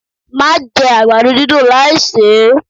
Má jẹ àgbàdo dídùn láì sè é!